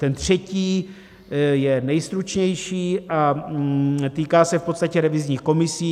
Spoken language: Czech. Ten třetí je nejstručnější a týká se v podstatě revizních komisí.